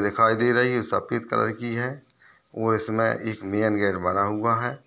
-- दिखाई दे रही सफेद कलर की है और इसमें एक मैन गेट बना हुआ है